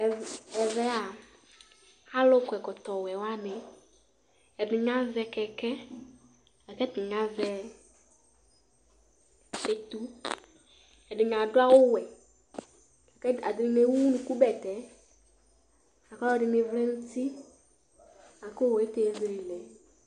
Ɛvɛ alʋkɔɛkɔtɔwɛ wanɩ Ɛdɩnɩ azɛ kɛkɛ, kʋ atanɩ azɛ etu Ɛdɩnɩ adʋ awʋwɛ, kʋ ɛdɩnɩ ewʋ unukubɛtɛ Ɔlɔdɩnɩ avlɛ nʋ uti, akʋ owʋ yɛ ta ezele yɩ lɛ